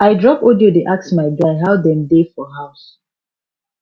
i drop audio dey ask my guy how dem dey for house